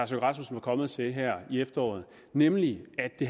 rasmussen var kommet til her i efteråret nemlig at det